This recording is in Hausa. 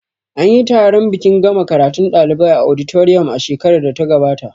Anyi taron bikin gama karatun ɗalibai a auditorium a shekarar da ta gabata